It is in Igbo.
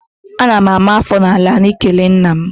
Ana m ama afọ n'ala n'ikele nna m